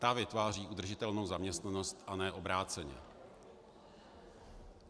Ta vytváří udržitelnou zaměstnanost, a ne obráceně.